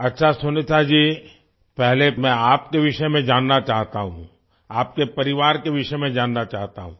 अच्छा सुनीता जी पहले मैं आपके विषय में जानना चाहता हूँ आपके परिवार के विषय में जानना चाहता हूँ